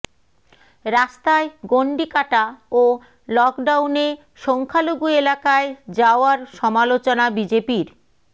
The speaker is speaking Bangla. রাস্তায় গণ্ডি কাটা ও লকডাউনে সংখ্যালঘু এলাকায় যাওয়ারও সমালোচনা বিজেপির